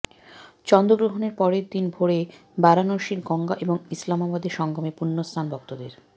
চন্দ্রগ্রহণের পরেরদিন ভোরে বারাণসীর গঙ্গা এবং ইলাহাবাদের সঙ্গমে পুণ্যস্নান ভক্তদের